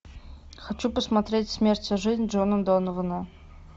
хочу посмотреть смерть и жизнь джона донована